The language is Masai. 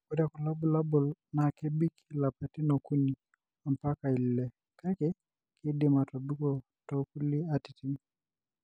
Ore kulo bulabul na kebik ilapatin okuni ampaka ile, kake kindim atobik tokulie atitin,